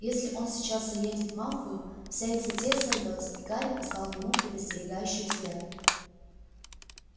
если он сейчас заедет малфою вся их затея сорвётся и гарри послал ему предостерегающий взгляд